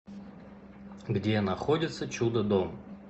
где находится чудодом